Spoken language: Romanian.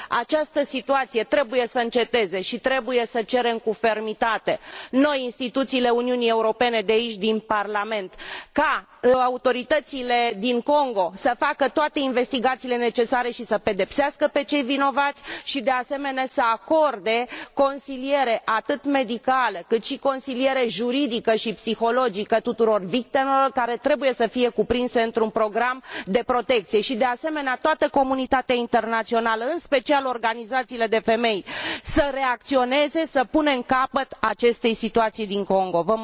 Această situație trebuie să înceteze și trebuie să cerem cu fermitate, noi, instituțiile Uniunii Europene, de aici, din Parlament, ca autoritățile din Congo să facă toate investigațiile necesare și să i pedepsească pe cei vinovați, și, de asemenea, să acorde consiliere, atât medicală, cât și consiliere juridică și psihologică, tuturor victimelor, care trebuie să fie cuprinse într un program de protecție, și, de asemenea, toată comunitatea internațională, în special organizațiile de femei, să reacționeze, să punem capăt acestei situații din Congo.